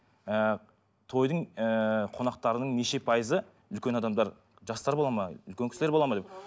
ыыы тойдың ыыы қонақтарының неше пайызы үлкен адамдар жастар болады ма үлкен кісілер болады ма деп